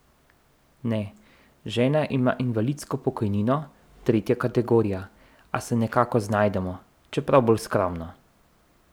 Ne, žena ima invalidsko pokojnino, tretja kategorija, a se nekako znajdemo, čeprav je bolj skromno.